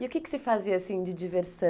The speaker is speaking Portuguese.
E o que que você fazia, assim, de diversão?